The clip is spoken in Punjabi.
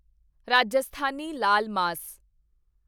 ਰਾਜਸਥਾਨੀ ਲਾਲ ਮਾਸ